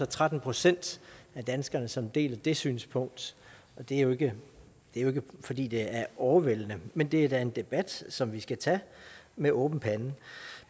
tretten procent af danskerne som deler det synspunkt det er jo ikke fordi det er overvældende men det er da en debat som vi skal tage med åben pande